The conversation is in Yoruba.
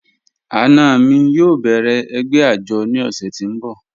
Ana mi yóò bẹ̀rẹ̀ ẹ̀gbẹ́ ajọ̀ ni ọṣẹ̀ ti ǹ bọ̀